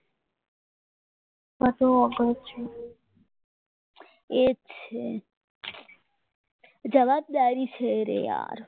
એ જ છે જવાબદારી છે યાર